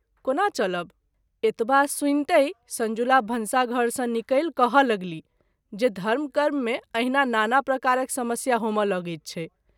कोना चलब ? एतबा सुनतहि संजुला भनसा घर सँ निकलि कहय लगलीह जे धर्म कर्म मे अहिना नाना प्रकारक समस्या होमए लगैत छैक।